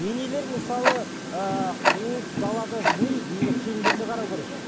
енелер мысалы ыыы қуып далада жүрмей ене келіндеріне қарау керек